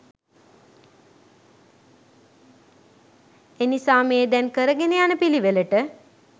එනිසා දැන් මේ කරගෙන යන පිළිවෙලට